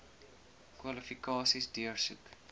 kwalifikasies deursoek